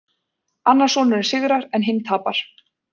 Annar sonurinn sigrar en hinn tapar